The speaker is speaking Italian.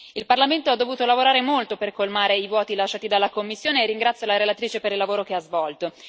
Il Parlamento ha dovuto lavorare molto per colmare i vuoti lasciati dalla Commissione, e ringrazio la relatrice per il lavoro che ha svolto.